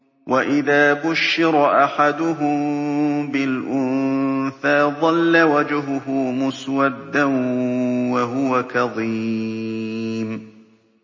وَإِذَا بُشِّرَ أَحَدُهُم بِالْأُنثَىٰ ظَلَّ وَجْهُهُ مُسْوَدًّا وَهُوَ كَظِيمٌ